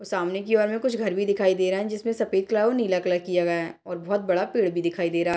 ओ सामने की ओर में कुछ घर भी दिखाई दे रहा है जिसमे सफ़ेद कलर और नीला कलर किया गया है और बहोत बड़ा पेड़ भी दिखाई दे रहा --